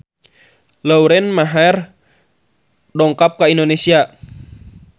Lauren Maher dongkap ka Indonesia